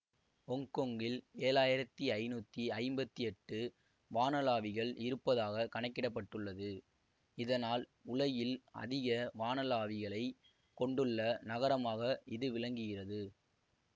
ஒங்கொங்கில் ஏழாயிரத்தி ஐநூத்தி ஐம்பத்தி எட்டு வானளாவிகள் இருப்பதாக கணக்கிட பட்டுள்ளது இதனால் உலகில் அதிக வானளாவிகளை கொண்டுள்ள நகரமாக இது விளங்குகிறது